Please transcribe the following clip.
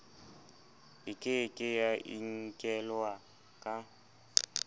e ke ke ya inkelwaka